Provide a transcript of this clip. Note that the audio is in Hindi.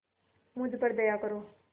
मुझ पर दया करो